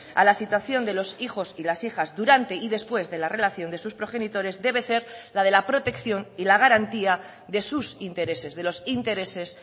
a la situación de los hijos y las hijas durante y después de la relación de sus progenitores debe ser la de la protección y la garantía de sus intereses de los intereses